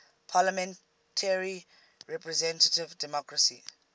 parliamentary representative democracy